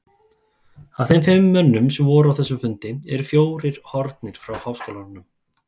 Af þeim fimm mönnum, sem voru á þessum fundi, eru fjórir horfnir frá háskólanum.